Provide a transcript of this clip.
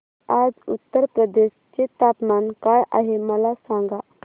आज उत्तर प्रदेश चे तापमान काय आहे मला सांगा